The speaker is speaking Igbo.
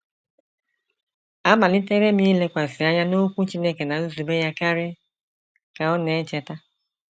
“ Amalitere m ilekwasị anya n’Okwu Chineke na nzube ya karị, ” ka ọ na - echeta.